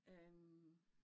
Øh